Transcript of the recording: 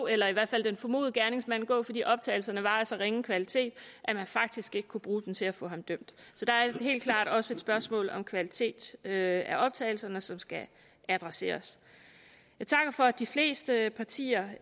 eller i hvert fald den formodede gerningsmand gå fordi optagelserne var af så ringe kvalitet at man faktisk ikke kunne bruge dem til at få ham dømt så der er helt klart også et spørgsmål om kvalitet af optagelserne som skal adresseres jeg takker for at de fleste partier